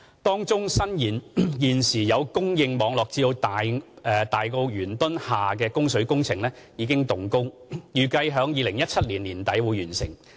當中伸延現有供水網絡至大埔元墩下的供水工程已經動工，預計於2017年年底完成。